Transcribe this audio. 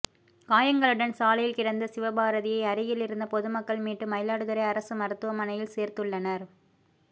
காயங்களுடன் சாலையில் கிடந்த சிவபாரதியை அருகில் இருந்த பொதுமக்கள் மீட்டு மயிலாடுதுறை அரசு மருத்துவமனையில் சேர்த்துள்ளனர்